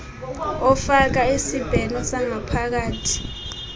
ofaka isibheno sangaphakathi